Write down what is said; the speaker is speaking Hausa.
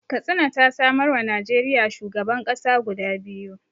Katsina ta samarwa Najeriya shugaban ƙasa guda biyu